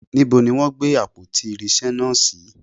Níbo ni wọn gbé àpótí irinsé náà si?